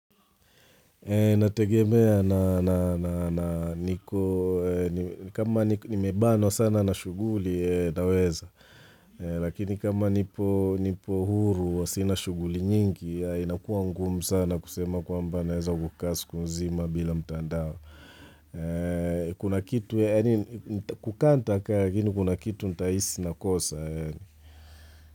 Nategemea na niko, kama nimebanwa sana na shughuli, naweza. Lakini kama nipo huru wa sina shughuli nyingi, inakuwa ngumu sana kusema kwamba naweza kukaa siku nzima bila mtandao. Kuna kitu yaani kukaa nitakaa lakini kuna kitu nitahisi nakosa.